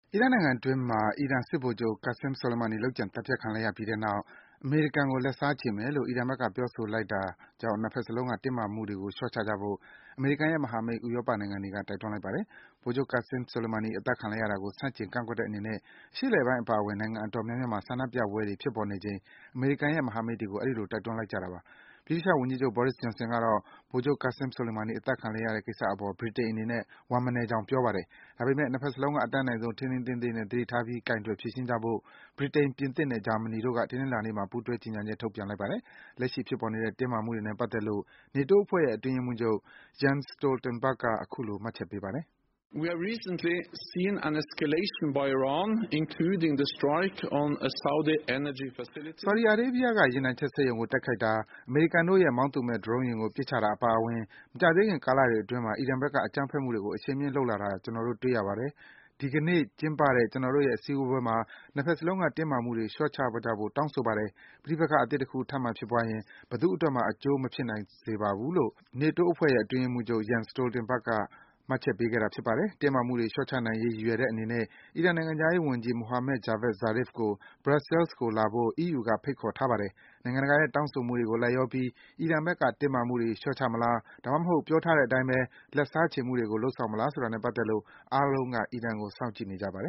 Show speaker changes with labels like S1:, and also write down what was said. S1: အီရတ်နိုင်ငံအတွင်းမှာ အီရန်စစ်ဗိုလ်ချုပ် Qassem Soleimani လုပ်ကြံ သတ်ဖြတ်ခံလိုက်ရပြီးတဲ့နောက် အမေရိကန်ကို လက်စားခြေမယ်လို့ အီရန်ဘက်က ပြောဆိုလိုက်တာကြောင့် နှစ်ဘက်စလုံးက တင်းမာမှုတွေကို လျော့ချကြဖို့ အမေရိကန်ရဲ့မဟာမိတ် ဥရောပနိုင်ငံတွေက တိုက်တွန်းလိုက်ပါတယ်။ ဗိုလ်ချုပ် Qassem Soleimani အသတ်ခံလိုက်ရတာကို ဆန့်ကျင် ကန့်ကွက်တဲ့အနေနဲ့ အရှေ့အလယ်ပိုင်းအပါအဝင် နိုင်ငံအတော်များများမှာ ဆန္ဒပြပွဲတွေ ဖြစ်ပေါ်နေချိန် အမေရိကန်ရဲ့ မဟာမိတ်နိုင်ငံတွေကို အဲဒီလို တိုက်တွန်းလိုက်ကြတာပါ။ ဗြိတိသျှဝန်ကြီးချုပ် Boris Johnson ကတော့ ဗိုလ်ချုပ် Qassem Soleimani အသတ်ခံ လိုက်ရတဲ့ကိစ္စအပေါ် ဗြိတိန်အနေနဲ့ ဝမ်းမနည်းကြောင်း ပြောပါတယ်။ ဒါပေမယ့် နှစ်ဘက်စလုံးက အတတ်နိုင်ဆုံး ထိန်းထိန်းသိမ်းသိမ်းနဲ့ သတိထားပြီး ကိုင်တွယ်ဖြေရှင်းကြဖို့ ဗြိတိန်၊ ပြင်သစ်နဲ့ ဂျာမနီတို့က တနင်္လာနေ့မှာ ပူးတွဲ ကြေညာချက် ထုတ်ပြန်လိုက်ပါတယ်။ လက်ရှိဖြစ်ပေါ်နေတဲ့ တင်းမာမှုတွေနဲ့ပတ်သက်လို့ နေတိုးအဖွဲ့ရဲ့ အတွင်းရေးမှူးချုပ် Jens Stoltenberg က အခုလို မှတ်ချက်ပေးပါတယ်။ “ဆော်ဒီအာရေးဗီးယားက ရေနံချက်စက်ရုံကို တိုက်ခိုက်တာ၊ အမေရိကန်တို့ရဲ့ မောင်းသူမဲ့ ဒရုန်းယာဉ်ကို ပစ်ချတာအပါအဝင် မကြာသေးခင် ကာလတွေအတွင်းမှာ အီရန်ဘက်က အကြမ်းဖက်မှုတွေကို အရှိန်မြင့်လုပ်လာတာ ကျနော်တို့ တွေ့ရပါတယ်။ ဒီကနေ့ကျင်းပတဲ့ ကျနော်တို့ရဲ့ စည်းဝေးပွဲမှာ နှစ်ဘက်စလုံးက တင်းမာမှုတွေ လျော့ချကြဖို့ တောင်းဆိုပါတယ်။ ပဋိပက္ခ အသစ်တခု ထပ်မံဖြစ်ပွားရင် ဘယ်သူ့အတွက်မှ အကျိုးမဖြစ်စေနိုင်ပါဘူး။” တင်းမာမှုတွေ လျော့ချနိုင်ရေး ရည်ရွယ်တဲ့အနေနဲ့ အီရန်နိုင်ငံခြားရေးဝန်ကြီး Mohammad Javad Zarif ကို Brussels ကို လာဖို့ အီးယူက ဖိတ်ခေါ်ထားပါတယ်။ နိုင်ငံတကာရဲ့ တောင်းဆိုမှုတွေကို လိုက်လျောပြီး အီရန်ဘက်က တင်းမာမှုတွေကို လျော့ချမလား၊ ဒါမှမဟုတ် ပြောထားတဲ့အတိုင်း လက်စားခြေမှုတွေကို လုပ်ဆောင်မလားဆိုတာနဲ့ပတ်သက်လို့ အားလုံးကို အီရန်ကို စောင့်ကြည့်နေကြပါတယ်